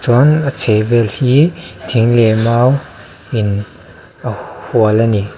chuan a chhehvel hi thing leh mau in a hual a ni.